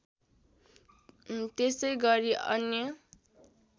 त्यसै गरी अन्य